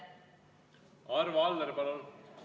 Arvo Aller, palun!